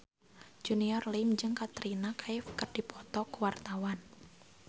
Junior Liem jeung Katrina Kaif keur dipoto ku wartawan